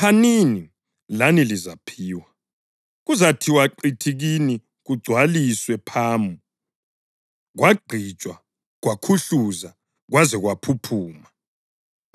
Phanini, lani lizaphiwa. Kuzathiwa qithi kini kugcwaliswe phamu, kwagqitshwa, kwakhuhluzwa kwaze kwaphuphuma.